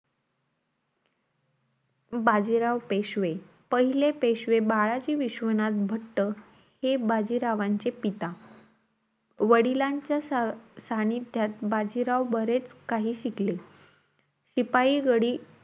बाजीराव पेशवे, पहिले पेशवे बाळाजी विशवनाथ भट्ट, हे बाजीरावांचे पिता. वडिलांच्या सा सान्निध्यात बाजीराव बरेचं काही शिकले. शिपाई गडी,